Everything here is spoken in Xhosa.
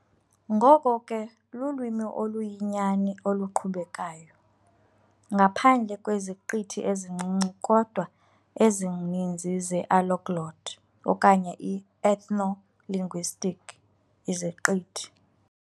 Ngoko ke lulwimi oluyinyani oluqhubekayo, ngaphandle kweziqithi ezincinci kodwa ezininzi ze-alloglot, okanye i-ethno-linguistic, iziqithi.